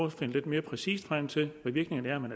at finde lidt mere præcist frem til hvad virkningerne er men